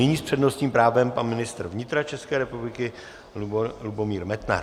Nyní s přednostním právem pan ministr vnitra České republiky Lubomír Metnar.